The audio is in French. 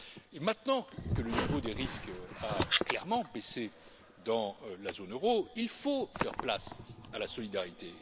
Et maintenant que le niveau des risques a clairement baissé dans la zone euro, il faut faire place à la solidarité.